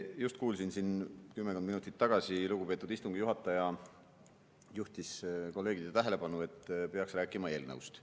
Just kuulsin siin kümmekond minutit tagasi, lugupeetud istungi juhataja juhtis kolleegide tähelepanu sellele, et peaks rääkima eelnõust.